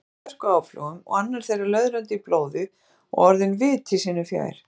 Tveir menn í hörkuáflogum og annar þeirra löðrandi í blóði og orðinn viti sínu fjær.